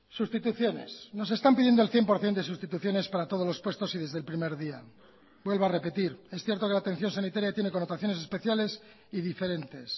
sustituciones nos están pidiendo el cien por ciento de sustituciones para todos los puestos y desde el primer día vuelvo a repetir es cierto que la atención sanitaria tiene connotaciones especiales y diferentes